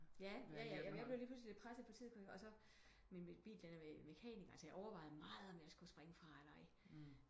Ja ja jeg blev lige pludselig lidt presset på tid kunne jeg min bil den er ved mekaniker så jeg overvejede meget om jeg skulle springe fra eller ej